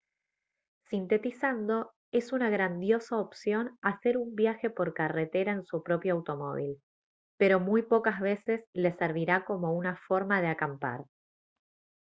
sintetizando es una grandiosa opción hacer un viaje por carretera en su propio automóvil pero muy pocas veces le servirá como una forma de «acampar»